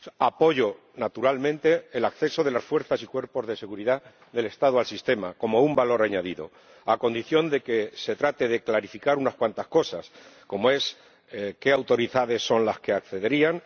Apoyo, naturalmente, el acceso de las Fuerzas y Cuerpos de Seguridad del Estado al sistema, como un valor añadido, a condición de que se trate de clarificar unas cuantas cosas, como es qué autoridades son las que accederían